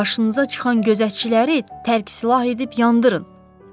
Qarşınıza çıxan gözətçiləri tərk silah edib yandırın.